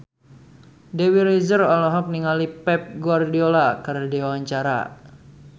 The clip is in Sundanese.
Dewi Rezer olohok ningali Pep Guardiola keur diwawancara